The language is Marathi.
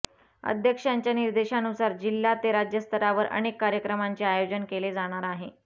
अध्यक्षांच्या निर्देशानुसार जिल्हा ते राज्य स्तरावर अनेक कार्यक्रमांचे आयोजन केले जाणार आहे